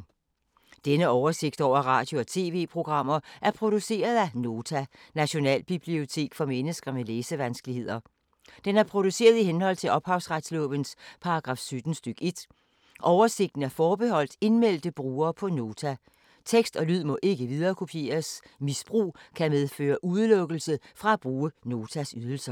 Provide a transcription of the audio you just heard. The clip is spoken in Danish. Denne oversigt over radio og TV-programmer er produceret af Nota, Nationalbibliotek for mennesker med læsevanskeligheder. Den er produceret i henhold til ophavsretslovens paragraf 17 stk. 1. Oversigten er forbeholdt indmeldte brugere på Nota. Tekst og lyd må ikke viderekopieres. Misbrug kan medføre udelukkelse fra at bruge Notas ydelser.